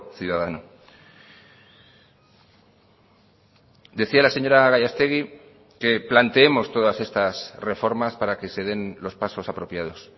ciudadano decía la señora gallastegui que planteemos todas estas reformas para que se den los pasos apropiados